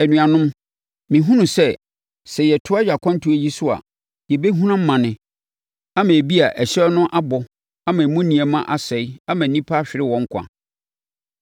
“Anuanom, mehunu sɛ, sɛ yɛtoa yɛn akwantuo yi so a, yɛbɛhunu amane ama ebia ɛhyɛn no abɔ ama emu nneɛma asɛe ama nnipa ahwere wɔn nkwa.”